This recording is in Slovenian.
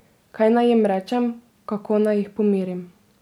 Kaj naj jim rečem, kako naj jih pomirim?